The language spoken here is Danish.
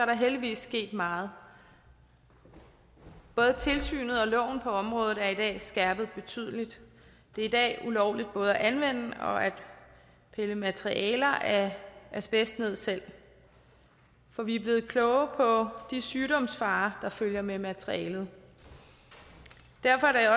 der heldigvis sket meget både tilsynet og loven på området er i dag skærpet betydeligt det er i dag ulovligt både at anvende og at pille materialer af asbest ned selv for vi er blevet klogere på de sygdomsfarer der følger med materialet derfor er